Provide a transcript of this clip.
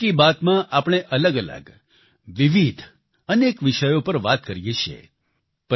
મન કી બાત માં આપણે અલગઅલગ વિવિધ અનેક વિષયો પર વાત કરીએ છીએ